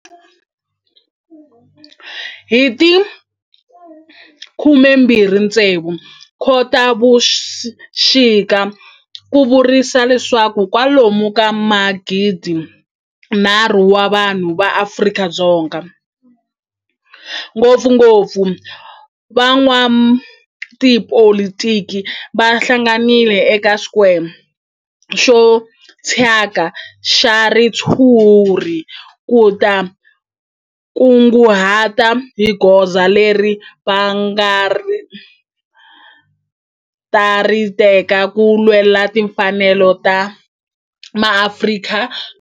Hi ti 26 Khotavuxika ku vuriwa leswaku kwalomu ka magidi-nharhu wa vanhu va Afrika-Dzonga, ngopfungopfu van'watipolitiki va hlanganile eka square xo thyaka xa ritshuri ku ta kunguhata hi goza leri va nga ta ri teka ku lwela timfanelo ta maAfrika-Dzonga.